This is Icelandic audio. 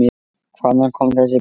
Hvaðan kom þessi blíði blær?